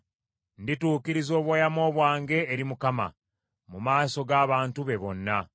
Ndituukiriza obweyamo bwange eri Mukama , mu maaso g’abantu be bonna,